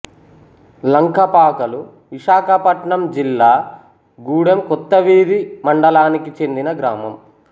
లంకపాకలు విశాఖపట్నం జిల్లా గూడెం కొత్తవీధి మండలానికి చెందిన గ్రామం